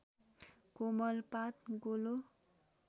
कोमल पात गोलो